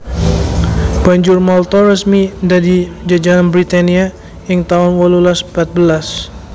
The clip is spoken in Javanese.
Banjur Malta resmi dadi jajahan Britania ing taun wolulas patbelas